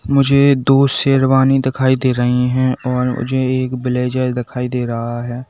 मुझे दो शेरवानी दिखाई दे रही हैं और मुझे एक ब्लेजर दिखाई दे रहा है।